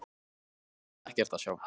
Nú var þar ekkert að sjá.